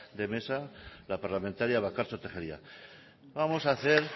de mesa la parlamentaria bakartxo tejeria vamos a hacer